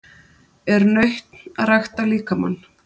Er nautn að rækta líkamann?